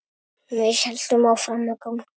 Við héldum áfram að ganga.